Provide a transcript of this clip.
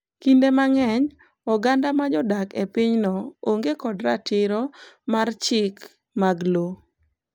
Kinde mang’eny, oganda ma jodak e pinyno onge kod ratiro ma chik mag lowo.